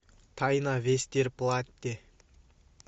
тайна вестерплатте